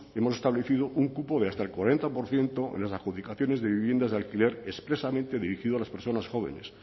hemos establecido un cupo de hasta el cuarenta por ciento en las adjudicaciones de viviendas de alquiler expresamente dirigido a las personas jóvenes